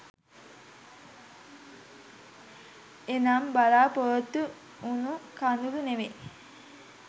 එනම් බලාපොරොත්තු වුනු කඳුළු නෙවෙයි.